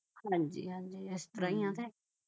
ਹਾਂਜੀ ਹਾਂਜੀ ਇਸ ਤਰ੍ਹਾਂ ਆ ਕੇ